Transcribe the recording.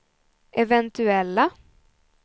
eventuella